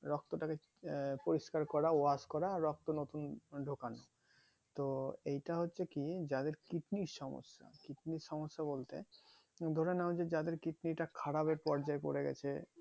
রক্তটাকে আহ পরিষ্কার করা wash করা রক্তটাকে নতুন ঢোকানো তো এইটা হচ্ছে কি যাদের কিডনির সমস্যা কিডনির সমস্যা বলতে ধরে নাও যে যাদের কিডনিটা খারাপ এর পর্যায় পরে গেছে